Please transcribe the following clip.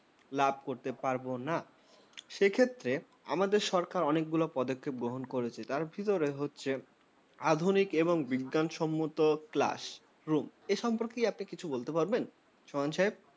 লাভ করতে পারবো না। সেক্ষেত্রে আমাদের সরকার অনেক গুলি পদক্ষেপ গ্রহণ করেছে। তার মধ্যে একটি হচ্ছে আধুনিক এবং বিজ্ঞানসম্মত classroom । এ সম্পর্কে আপনি কি কিছু বলতে পারবেন, সোহান সাহেব?